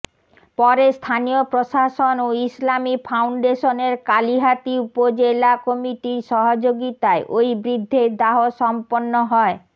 পরে স্থানীয় প্রশাসন ও ইসলামী ফাউন্ডেশনের কালিহাতী উপজেলা কমিটির সহযোগিতায় ওই বৃদ্ধের দাহ সম্পন্ন হয়